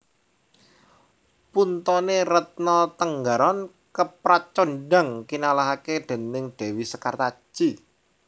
Puntone Retno Tenggaron kepracondhang kinalahake déning dewi Sekartaji